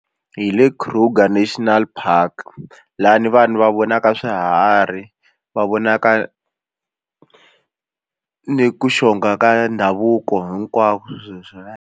Hi le Kruger National Park lani vanhu va vonaka swiharhi va vonaka ni ku xonga ka ndhavuko hinkwako .